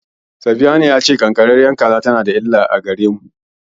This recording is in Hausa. Safiyanu ya ce ƙanƙararriyar kaza tana da illa a gare mu.